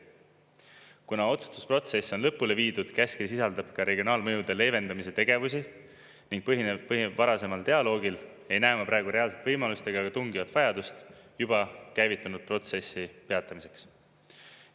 Kuna otsustusprotsess on lõpule viidud, käskkiri sisaldab ka regionaalmõjude leevendamise tegevusi ning põhineb varasemal dialoogil, ei näe ma praegu reaalselt võimalust ega ka tungivat vajadust juba käivitunud protsessi peatamiseks.